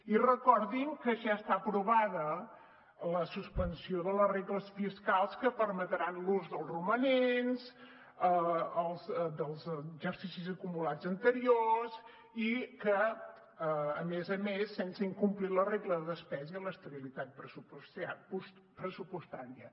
i recordin que ja està aprovada la suspensió de les regles fiscals que permetrà l’ús dels romanents dels exercicis acumulats anteriors i a més a més sense incomplir la regla de despesa i l’estabilitat pressupostària